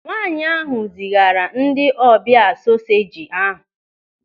Nwaanyị ahụ zigara ndị ọbịa soseji ahụ.